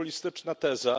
To populistyczna teza.